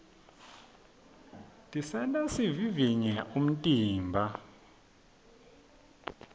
tisenta sivivivye umtimba